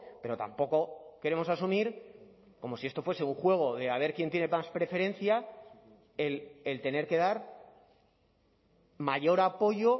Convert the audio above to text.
pero tampoco queremos asumir como si esto fuese un juego de a ver quién tiene más preferencia el tener que dar mayor apoyo